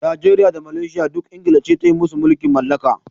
Najeriya da Malaysia duk England ce ta yi musu mulkin mallaka.